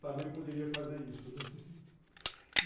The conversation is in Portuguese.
Também poderia fazer isso, né?